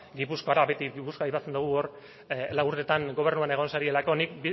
gipuzkoara beti gipuzkoa aipatzen dugu hor lau urteetan gobernuan egon zarielako